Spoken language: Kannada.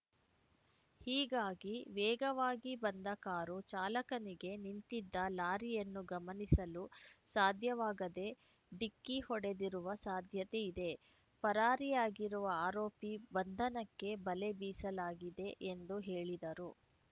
ಹೀಗಾಗಿ ವೇಗವಾಗಿ ಬಂದ ಕಾರು ಚಾಲಕನಿಗೆ ನಿಂತಿದ್ದ ಲಾರಿಯನ್ನು ಗಮನಿಸಲು ಸಾಧ್ಯವಾಗದೇ ಡಿಕ್ಕಿ ಹೊಡೆದಿರುವ ಸಾಧ್ಯತೆ ಇದೆ ಪರಾರಿಯಾಗಿರುವ ಆರೋಪಿ ಬಂಧನಕ್ಕೆ ಬಲೆ ಬೀಸಲಾಗಿದೆ ಎಂದು ಹೇಳಿದರು